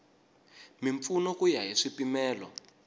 mimpfuno ku ya hi swipimelo